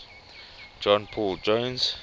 john paul jones